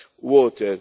water.